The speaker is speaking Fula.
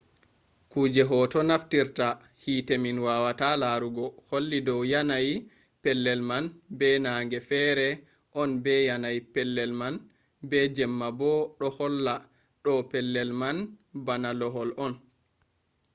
kuje hoto naftirta hite min wawata larugo holli dow yanayi pellel man be nange fere on be yanayi pellel man be jemma bo ɗo holla ɗo pellel man bana lohol on